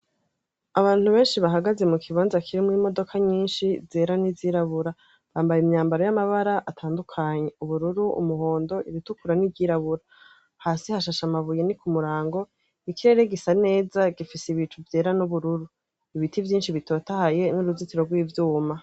Abantu benshi bahagaze mu kibanza kirimwo imodoka nyinshi zera n'izirabura. Bambaye imyambaro y'amabara atandukanye: ubururu umuhondo, iritukura n'iryirabura. Hasi hashashe amabuye ni kumurango, ikirere gisa neza gifise ibicu vyera n'ubururu, ibiti vyinshi bitotahaye, n'uruzitiro rw'ivyuma.